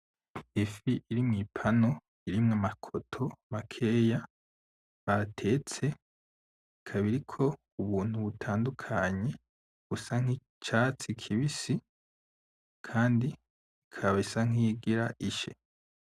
ifi iri mwipano irimwo ama koto makeya batetse ikaba iriko ubuntu butandukanye busa nk'icatsi kibisi kandi ikaba isa nkiyigira ishe